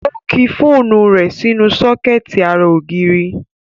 Ó ki fóònù rẹ̀ sínú sọ́kẹ̀tì ara ògiri